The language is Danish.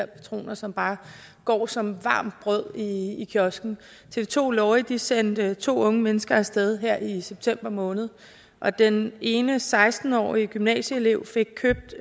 patroner som bare går som varmt brød i i kiosken tv to lorry sendte to unge mennesker af sted her i september måned og den ene seksten årige gymnasieelev fik købt